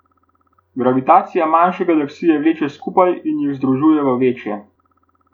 Gravitacija manjše galaksije vleče skupaj in jih združuje v večje.